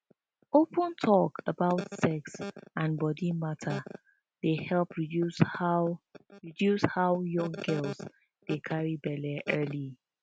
open talk about sex and body matter dey help reduce how reduce how young girls dey carry belle early